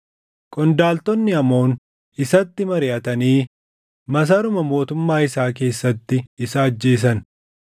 Qondaaltonni Amoon isatti mariʼatanii masaruma mootummaa isaa keessatti isa ajjeesan.